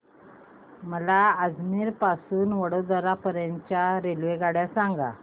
मला अजमेर पासून तर वडोदरा पर्यंत च्या रेल्वेगाड्या सांगा